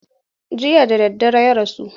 Jiya da daddare ya rasu.